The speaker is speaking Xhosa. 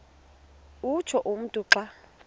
utsho umntu xa